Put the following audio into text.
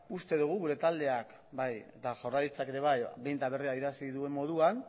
uste dugu bai gure taldeak eta jaurlaritzak ere bai behin eta berriro adierazi duen moduan